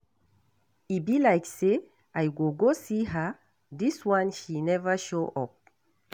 E be like say I go go see her dis one she never show up.